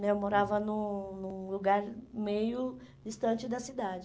né eu morava num num lugar meio distante da cidade.